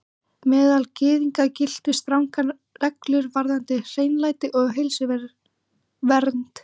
Meðal Gyðinga giltu strangar reglur varðandi hreinlæti og heilsuvernd.